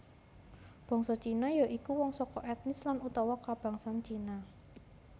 Bangsa Cina ya iku wong saka ètnis lan utawa kabangsan Cina